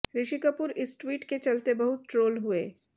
ऋषि कपूर इस ट्वीट के चलते बहुत ट्रोल हुए